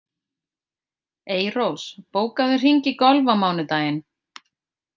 Eyrós, bókaðu hring í golf á mánudaginn.